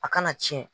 A kana tiɲɛ